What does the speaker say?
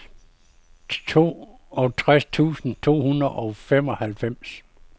toogtres tusind to hundrede og femoghalvfems